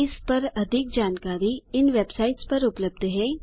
इस पर अधिक जानकारी इन वेबसाइट्स पर उबलब्ध है